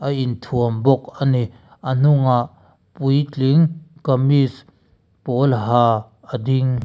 a inthuam bawk a ni a hnungah puitling kamis pawl ha a ding.